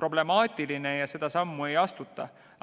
problemaatiline ja seda sammu ei astuta.